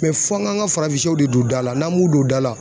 fɔ an k'an ka farafinsɛw de don da la n'an m'u don da la